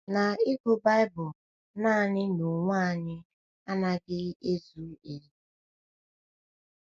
Na ịgụ Baịbụl naanị n’onwe anyị ezughị ezu.